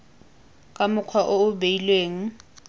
ka mokgwa o o beilweng